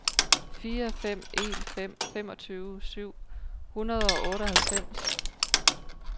fire fem en fem femogtyve syv hundrede og otteoghalvfems